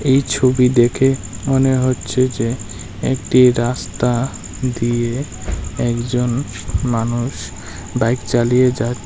এই ছবি দেখে মনে হচ্ছে যে একটি রাস্তা দিয়ে একজন মানুষ বাইক চালিয়ে যাছ--